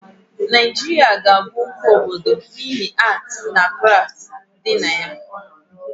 Naịjiria ga abụ oke obodo n'ihi atii na krafti dịd na ime ya